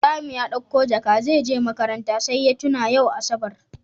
Ibrahim ya ɗauko jaka zeje makaranta sai ya tuna yau asabar